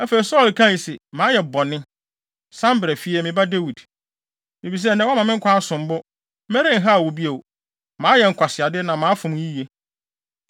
Afei Saulo kae se, “Mayɛ bɔne. San bra fie, me ba Dawid. Efisɛ nnɛ, woama me nkwa asom wo bo. Merenhaw wo bio. Mayɛ nkwaseade na mafom yiye.”